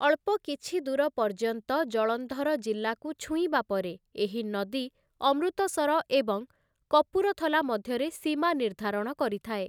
ଅଳ୍ପ କିଛି ଦୂର ପର୍ଯ୍ୟନ୍ତ ଜଳନ୍ଧର ଜିଲ୍ଲାକୁ ଛୁଇଁବା ପରେ, ଏହି ନଦୀ ଅମୃତସର ଏବଂ କପୁରଥଲା ମଧ୍ୟରେ ସୀମା ନିର୍ଦ୍ଧାରଣ କରିଥାଏ ।